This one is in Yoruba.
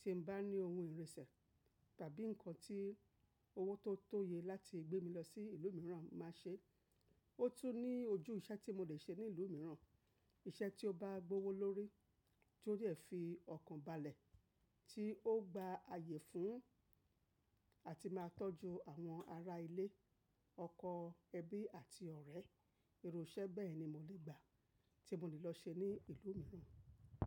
Tí mo bá ní ohun ìrìnsẹ̀ tàbí nǹkan tí owó tó tóye láti gbé mi lọ sí ìlú mìíràn máa ṣe. Ó tún ní ojú iṣẹ́ tí mo lè ṣe ní ìlú mìíràn. Iṣẹ́ tí ó bá gbówó lórí, tí ó dẹ fi ọkàn balẹ̀, tí ó gba ààyè fún àti máa tọ́jú àwọn ará ilé, ọkọ, ẹbí àti ọ̀rẹ́. Irú iṣẹ́ bẹ́ẹ̀ ni mo lè gbà tí mo lè lọ ṣe ní ìlú mìíràn.